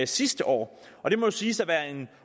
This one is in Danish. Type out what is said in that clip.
sidste år og det må jo siges at være en